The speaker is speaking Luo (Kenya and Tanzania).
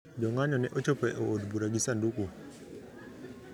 Jong`anyo ne ochopo e od bura gi sanduku